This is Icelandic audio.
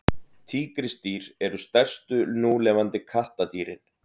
tígrisdýr eru stærstu núlifandi kattardýrin